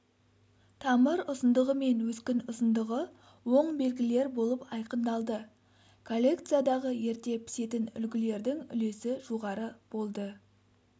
тамыр ұзындығы мен өскін ұзындығы оң белгілер болып айқындалды коллекциядағы ерте пісетін үлгілердің үлесі жоғары болды